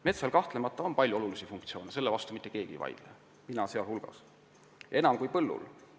Metsal on kahtlemata palju olulisi funktsioone – selle vastu ei vaidle mitte keegi, ka mina mitte –, neid on rohkem kui põllul.